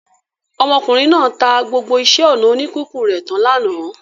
Ọmọkùnrin náà ta gbogbo iṣẹ́-ọnà oníkíkùn rẹ̀ tán lánàá.